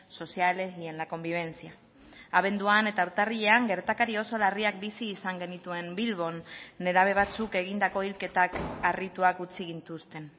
sociales y en la convivencia abenduan eta urtarrilean gertakari oso larriak bizi izan genituen bilbon nerabe batzuk egindako hilketak harrituak utzi gintuzten